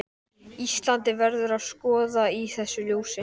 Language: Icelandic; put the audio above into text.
Íslandi, verður að skoða í þessu ljósi.